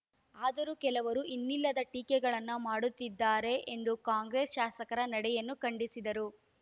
ಆದರೂ ಕೆಲವರು ಇನ್ನಿಲ್ಲದ ಟೀಕೆಗಳನ್ನು ಮಾಡುತ್ತಿದ್ದಾರೆ ಎಂದು ಕಾಂಗ್ರೆಸ್‌ ಶಾಸಕರ ನಡೆಯನ್ನು ಖಂಡಿಸಿದರು